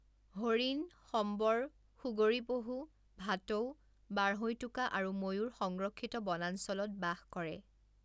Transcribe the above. হৰিণ, সম্বৰ, সুগৰী পহু, ভাটৌ, বাঢ়ৈটোকা আৰু ময়ূৰ সংৰক্ষিত বনাঞ্চলত বাস কৰে।